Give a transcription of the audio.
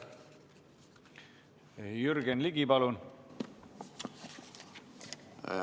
Jürgen Ligi, palun!